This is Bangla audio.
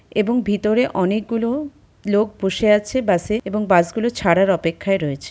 এবং ভিতরে অনেকগুলো লোক বসে আছে বাস -এ এবং বাস গুলো ছাড়ার অপেক্ষায় রয়েছে ।